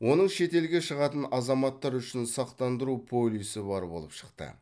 оның шетелге шығатын азаматтар үшін сақтандыру полисі бар болып шықты